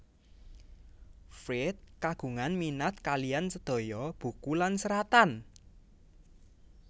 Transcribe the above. Fried kagungan minat kaliyan sedaya buku lan seratan